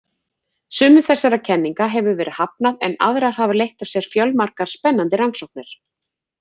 Sumum þessara kenninga hefur verið hafnað en aðrar hafa leitt af sér fjölmargar spennandi rannsóknir.